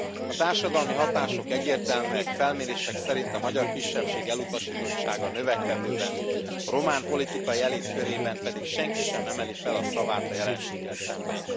A társadalmi hatások egyértelműek, felmérések szerint a magyar kisebbség elutasítottsága növekedőben, a román politikai elit körében pedig senki sem emeli fel a szavát a jelenséggel szemben.